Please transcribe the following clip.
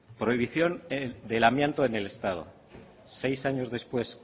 prohibición del amianto en el estado seis años después